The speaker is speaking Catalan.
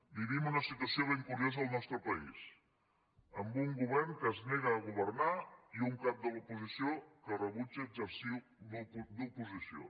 vivim una situació ben curiosa en el nostre país amb un govern que es nega a governar i un cap de l’oposició que rebutja exercir d’oposició